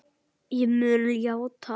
Ég mun játa allt.